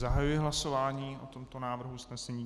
Zahajuji hlasování o tomto návrhu usnesení.